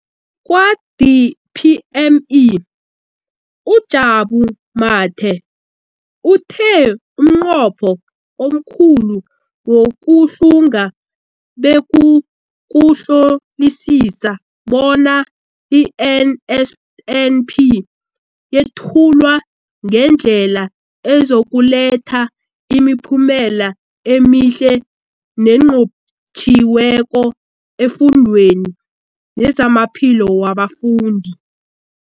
Kwa-DPME, uJabu Mathe, uthe umnqopho omkhulu wokuhlunga bekukuhlolisisa bona i-NSNP yethulwa ngendlela ezokuletha imiphumela emihle nenqotjhiweko efundweni nezamaphilo wabafundi.